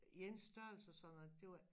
I ens størrelse og sådan noget det var